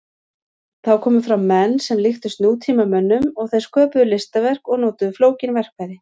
Þá komu fram menn sem líktust nútímamönnum og þeir sköpuðu listaverk og notuðu flókin verkfæri.